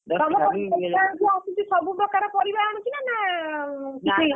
ତମ ଗାଁକୁ ଯିଏ ଆସୁଛି ସବୁ ପ୍ରକାର ପରିବା ଆଣୁଛି ନା, କିଛି ଆଣୁନି?